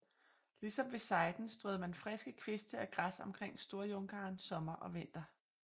Ligesom ved seiden strøede man friske kviste og græs omkring Storjunkaren sommer og vinter